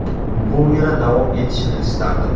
Bu yana davom etishini istardim.